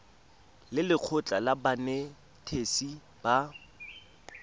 le lekgotlha la banetetshi ba